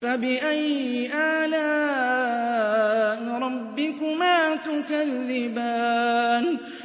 فَبِأَيِّ آلَاءِ رَبِّكُمَا تُكَذِّبَانِ